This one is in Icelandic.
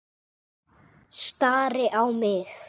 Stari á mig.